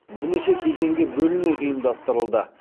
бірнеше кезеңге бөліне ұйымдастырылды